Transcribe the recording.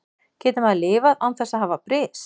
Getur maður lifað án þess að hafa bris?